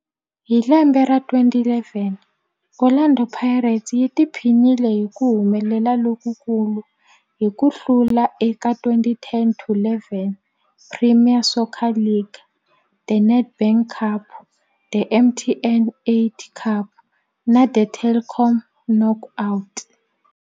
Hi lembe ra 2011, Orlando Pirates yi tiphinile hi ku humelela lokukulu hi ku hlula eka 2010-11 Premier Soccer League, The Nedbank Cup, The MTN 8 Cup na The Telkom Knockout.